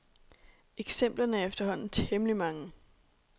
Eksemplerne er efterhånden temmelig mange.